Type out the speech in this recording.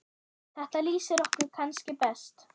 Þetta lýsir ykkur kannski best.